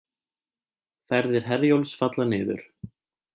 Ferðir Herjólfs falla niður